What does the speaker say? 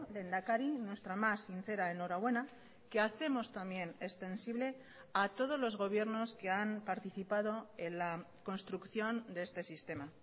lehendakari nuestra más sincera enhorabuena que hacemos también extensible a todos los gobiernos que han participado en la construcción de este sistema